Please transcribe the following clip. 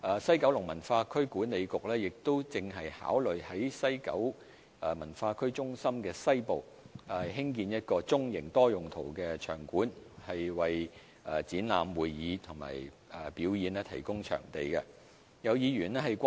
西九文化區管理局亦正考慮在西九文化區中心的西部，興建一個中型多用途的場館，為展覽、會議及表演提供場地。